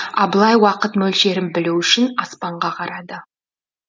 абылай уақыт мөлшерін білу үшін аспанға қарады